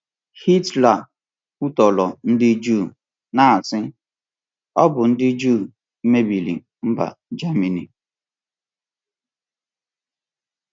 Hitler kwutọrọ ndị Juu, na-asị, ‘Ọ bụ ndị Juu mebiri mba Germany.’